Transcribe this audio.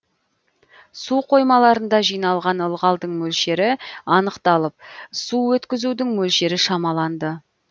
су қоймаларында жиналған ылғалдың мөлшері анықталып су өткізудің мөлшері шамаланды